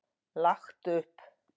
Lagt upp.